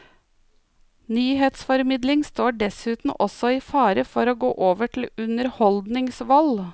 Nyhetsformidling står dessuten også i fare for å gå over til underholdningsvold.